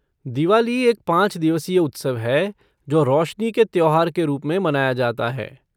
दिवाली एक पाँच दिवसीय उत्सव है जो रोशनी के त्योहार के रूप में मनाया जाता है।